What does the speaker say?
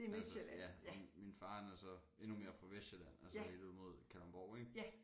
Altså ja og min far han er så endnu mere fra Vestsjælland altså helt ude mod Kalundborg ik